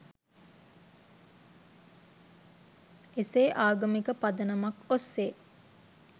එසේ ආගමික පදනමක් ඔස්සේ